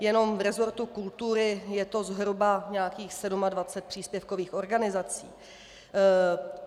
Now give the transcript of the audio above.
Jenom v resortu kultury je to zhruba nějakých 27 příspěvkových organizací.